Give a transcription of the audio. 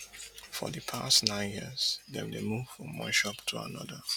for di past nine years dem dey move from one shop to anoda